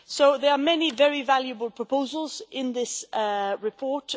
There are many very valuable proposals in this report.